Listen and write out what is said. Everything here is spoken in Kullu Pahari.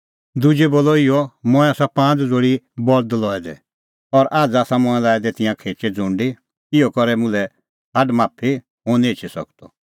दुजै बोलअ इहअ मंऐं आसा पांज़ ज़ोल़ी बल्द लऐ दै और आझ़ आसा मंऐं लाऐ दै तिंयां खेचै ज़ुंडी इहअ करै मुल्है छ़ाड माफी हुंह निं एछी सकदअ